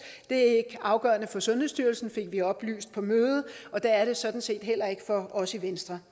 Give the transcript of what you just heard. er ikke afgørende for sundhedsstyrelsen fik vi oplyst på mødet og det er det sådan set heller ikke for os i venstre